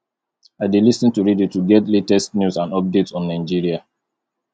i dey lis ten to radio to get latest news and updates on nigeria